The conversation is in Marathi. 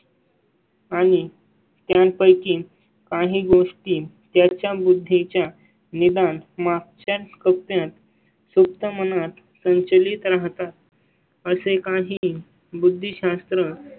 आणि त्यांपैकी काही गोष्टी त्याच्या बुद्धी च्या निदान मागच्या कप्प्यात सुप्त मनात संचलीत राहता. असे काही बुद्धी शास्त्र.